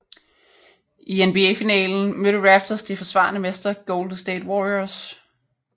I NBA finalen mødte Raptors de forsvarende mestre Golden State Warriors